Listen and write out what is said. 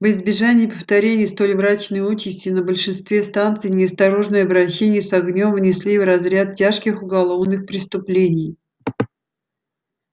во избежание повторения столь мрачной участи на большинстве станций неосторожное обращение с огнём внесли в разряд тяжких уголовных преступлений